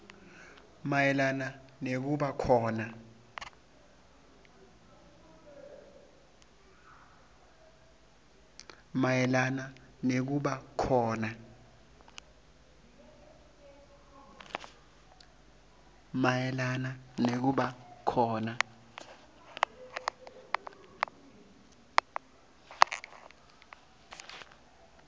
mayelana nekuba khona